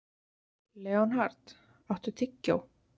Leonhard, áttu tyggjó?